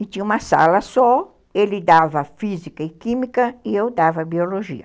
E tinha uma sala só, ele dava física e química e eu dava biologia.